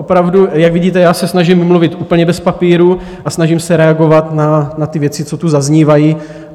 Opravdu, jak vidíte, já se snažím mluvit úplně bez papíru a snažím se reagovat na ty věci, co tu zaznívají.